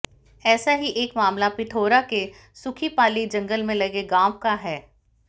ऐसा ही एक मामला पिथौरा के सुखीपाली जंगल से लगे गांव का है